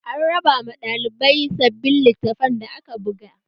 An raba ma ɗalibai sabbin littafan da aka buga